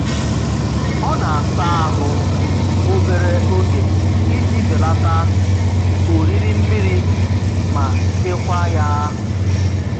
Ọ na-asa ahụ obere oge iji belata oriri mmiri ma chekwaa ya